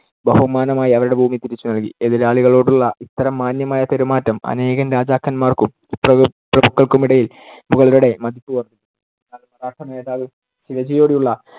ബഹുമാനമായി അവരുടെ ഭൂമി തിരിച്ചു നൽകി. എതിരാളികളോടുള്ള ഇത്തരം മാന്യമായ പെരുമാറ്റം അനേകം രാജാക്കന്മാർക്കും പ്രഭു~ പ്രഭുക്കൾക്കുമിടയിൽ മുഗളരുടെ മതിപ്പ് വർദ്ധിപ്പിച്ചു. എന്നാൽ മറാഠ നേതാവ് ശിവജിയോടുള്ള